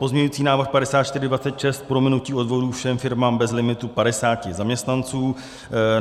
Pozměňovací návrh 5426 - prominutí odvodů všem firmám bez limitu 50 zaměstnanců.